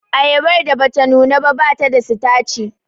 Ayabar da bata nuna ba bata da sitaci